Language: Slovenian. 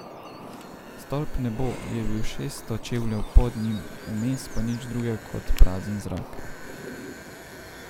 Stolp Nebo je bil šeststo čevljev pod njim, vmes pa nič drugega kot prazen zrak.